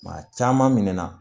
Maa caman minɛna